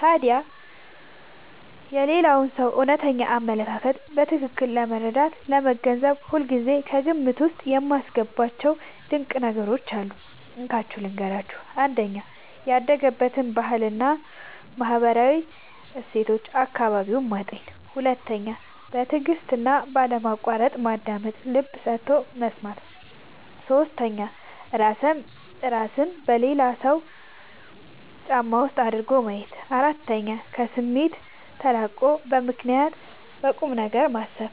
ታዲያ የሌላውን ሰው እውነተኛ አመለካከት በትክክል ለመረዳትና ለመገንዘብ ሁልጊዜ ከግምት ውስጥ የማስገባቸው ድንቅ ነገሮች አሉ፤ እንካችሁ ልንገራችሁ - 1. ያደገበትን ባህልና ማህበራዊ እሴት (አካባቢውን) ማጤን 2. በትዕግስትና ባለማቋረጥ ማዳመጥ (ልብ ሰጥቶ መስማት) 3. እራስን በሌላው ሰው ጫማ ውስጥ አድርጎ ማየት 4. ከስሜት ተላቆ በምክንያትና በቁምነገር ማሰብ